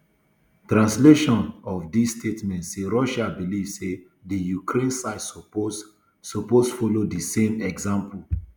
translation of di statement say russia believe say di ukraine side supppose supppose follow di same example